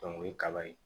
o ye kaba ye